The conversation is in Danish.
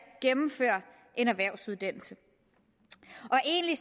gennemføre en erhvervsuddannelse egentlig